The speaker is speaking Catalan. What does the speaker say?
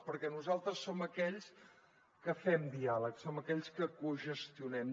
perquè nosaltres som aquells que fem diàleg som aquells que cogestionem